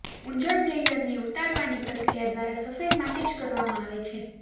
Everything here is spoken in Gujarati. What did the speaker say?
ઉંજણ બ્લેન્ડરની ઉતારવાની પ્રક્રિયા દ્વારા સફાઈ માટે જ કરવામાં આવે છે